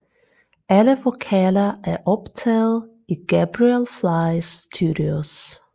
Alle vokaler er optaget i Gabriel Flies Studios